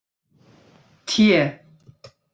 T